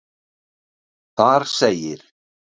Þar segir.